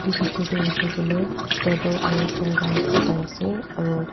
etu pichor te hoise koile table aru chair khan dikhi pai ase aro--